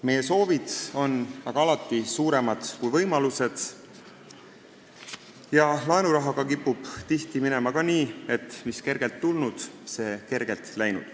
Meie soovid on aga alati suuremad kui võimalused ja laenurahaga kipub tihti minema ka nii, et mis kergelt tulnud, see kergelt läinud.